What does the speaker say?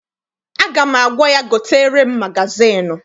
Aga m agwa ya, gotere m magazịịnụ!